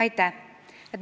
Aitäh!